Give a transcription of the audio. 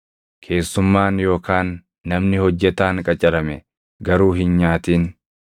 keessummaan yookaan namni hojjetaan qacarame garuu hin nyaatin.